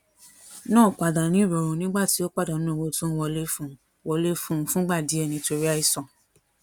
náà padà ni irorun nígbà tí ó padanu owó tó ń wọlé fún un wọlé fún un fúngbà díè nítorí àìsàn